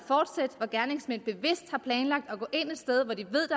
er gerningsmænd bevidst har planlagt at gå ind et sted hvor de ved